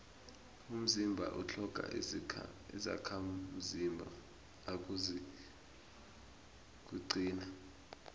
umzimba utlhoga izakhamzimba nawuzakuqina